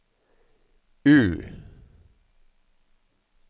U